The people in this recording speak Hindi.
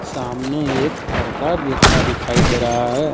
सामने एक पर्दा लटका दिखाई दे रहा है।